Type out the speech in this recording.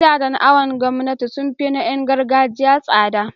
gidajen awon gomnati sunfi na Yan gargajiya tsada